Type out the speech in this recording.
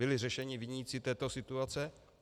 Byli řešeni viníci této situace?